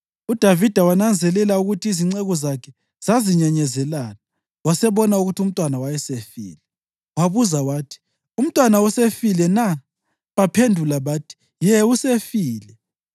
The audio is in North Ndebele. UDavida wananzelela ukuthi izinceku zakhe zazinyenyezelana wasebona ukuthi umntwana wayesefile. Wabuza wathi, “Umntwana usefile na?” Baphendula bathi, “Ye, usefile.”